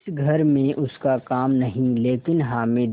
इस घर में उसका काम नहीं लेकिन हामिद